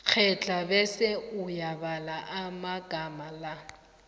kghedla bese uyabala amagama la